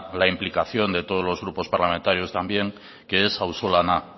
la implicación de todos los grupos parlamentarios también que es auzolana